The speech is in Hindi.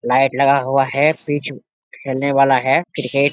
लाइट लगा हुआ है पिच खेलने वाला है क्रिकेट --